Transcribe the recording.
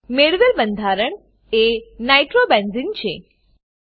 મેળવેલ બંધારણ એ નાઇટ્રોબેન્ઝને નાઈટ્રોબેન્ઝીન છે